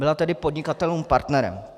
Byla tedy podnikatelům partnerem.